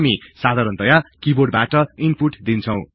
हामी साधारणतय किबोर्डबाट ईनपुट दिन्छौ